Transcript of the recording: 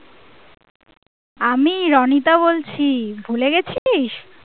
আমি রণিতা বলছি ভুলে গেছিস?